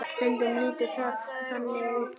Stundum lítur það þannig út.